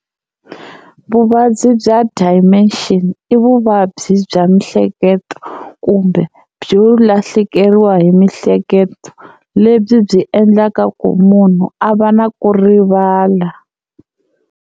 Vuvabyi bya Dementia i vuvabyi bya miehleketo kumbe byo lahlekeriwa hi mihleketo lebyi byi endlaka ku munhu a va na ku rivala.